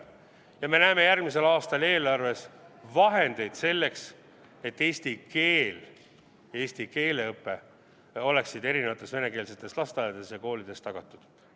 Ja me näeme järgmisel aastal eelarves vahendeid selleks, et eesti keel ja eesti keele õpe oleksid erinevates venekeelsetes lasteaedades ja koolides tagatud.